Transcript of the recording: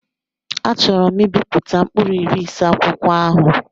Achọọro m ibipụta mkpụrụ iri ise akwụkwọ ahụ.